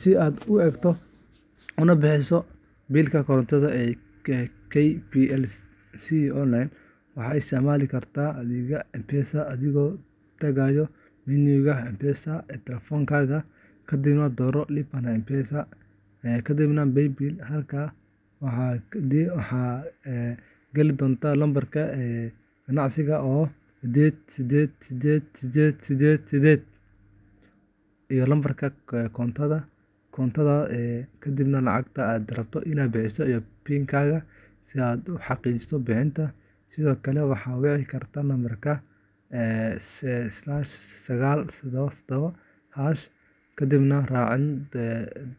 Si aad u eegto una bixiso biilka korontada ee KPLC online, waxaad isticmaali kartaa adeegga M-Pesada adigoo tagaya menu-ga M-Pesada ee taleefankaaga, kadibna dooro Lipa na M-Pesa, kadibna Paybill. Halkaas waxaad geli doontaa lambarka ganacsiga oo ah 888888 iyo lambarka koontada korontadaada, kadibna lacagta aad rabto inaad bixiso iyo PIN-kaaga si aad u xaqiijiso bixinta. Sidoo kale, waxaad wici kartaa lambarka *977# kadibna raaci